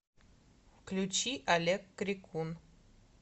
включи олег крикун